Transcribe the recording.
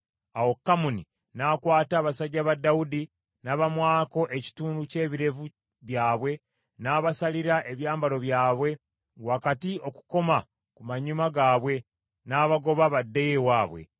Awo Kamuni n’akwata abasajja ba Dawudi n’abamwako ekitundu ky’ebirevu byabwe n’abasalira ebyambalo byabwe wakati okukoma ku manyuma gaabwe, n’abagoba baddeyo ewaabwe.